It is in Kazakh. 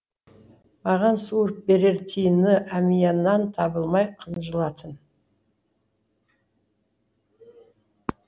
маған суырып берер тиыны әмиянынан табылмай қынжылатын